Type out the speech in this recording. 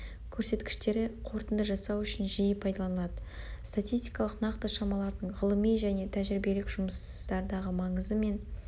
көрсеткіштері қорытынды жасау үшін жиі пайдаланады статистикалық нақты шамалардың ғылыми және тәжірибелік жұмыстардағы маңызы мен